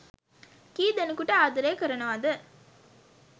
කී ‌දෙ‌නෙකුට ආද‌රේ කරනවද